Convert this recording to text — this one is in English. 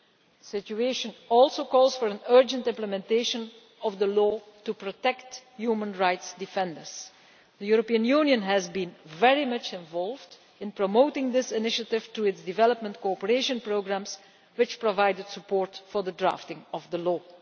The situation also calls for an urgent implementation of the law to protect human rights defenders. The European Union has been very much involved in promoting this initiative through its Development Cooperation Programmes, which provided support for the drafting of the law.